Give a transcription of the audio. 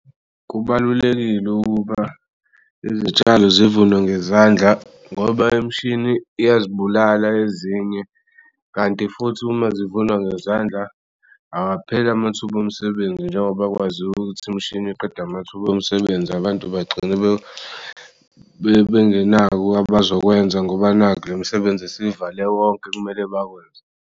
Kubalulekile ukuba izitshalo zivunwe ngezandla ngoba imishini iyazibulala ezinye kanti futhi uma zivunwa ngezandla awaphel'amathuba omsebenzi njengoba kwaziw'ukuthi imishini iqeda amathuba omsebenzi abantu bagcine bengenawo abazokwenza ngoba nakhu le misebenzi isivale wonke okumele bakwenze.